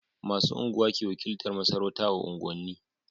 Masu unguwa ke wakiltar masarauta a unguwan ni